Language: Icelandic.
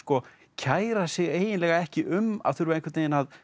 kæra sig eiginlega ekki um að þurfa að